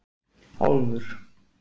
Álfur